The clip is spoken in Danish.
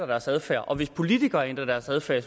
deres adfærd og hvis politikere ændrer deres adfærd